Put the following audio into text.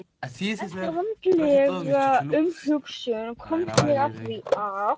Og eftir vandlega umhugsun komst ég að því að